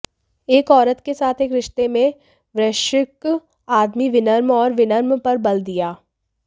एक औरत के साथ एक रिश्ते में वृश्चिक आदमी विनम्र और विनम्र पर बल दिया